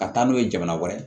Ka taa n'o ye jamana wɛrɛ